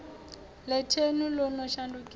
ḽe thenu ḽo no shandukisa